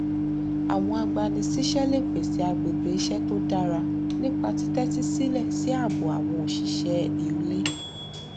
àwọn agbanisíṣẹ lè pèsè agbègbè iṣẹ tó dára nípa títẹtí sílẹ sí ààbọ àwọn òṣìṣẹ iulé